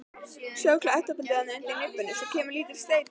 Sjáðu klettabeltið þarna undir nibbunni, svo kemur lítill steinn.